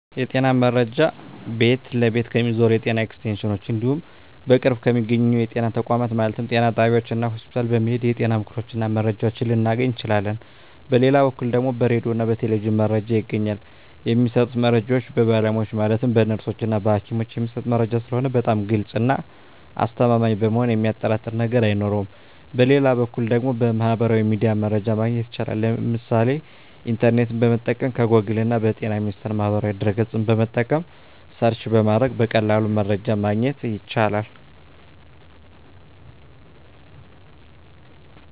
የጤና መረጃ ቤት ለቤት ከሚዞሩት የጤና ኤክስቴንሽኖች እንዲሁም በቅርብ በሚገኙ የጤና ተቋማት ማለትም ጤና ጣቢያዎች እና ሆስፒታል በመሔድ የጤና ምክሮችን እና መረጃዎችን ልናገኝ እንችላለን በሌላ በኩል ደግሞ በራዲዮ እና በቴሌቪዥንም መረጃ ይገኛል የሚሰጡት መረጃዎች በባለሙያዎች ማለትም በነርሶች እና በሀኪሞች የሚሰጥ መረጂ ስለሆነ በጣም ግልፅ እና አስተማማኝ በመሆኑ የሚያጠራጥር ነገር አይኖረውም በሌላ በኩል ደግሞ በሚህበራዊ ሚዲያ መረጃ ማግኘት ይቻላል የምሳሌ ኢንተርኔትን በመጠቀም ከጎግል እና በጤና ሚኒስቴር ማህበራዊ ድህረ ገፅን በመጠቀም ሰርች በማድረግ በቀላሉ መረጃን ማግኘት ይቻላል።